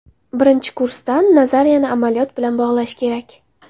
Birinchi kursdan nazariyani amaliyot bilan bog‘lash kerak.